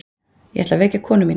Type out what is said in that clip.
Ég ætla að vekja konu mína.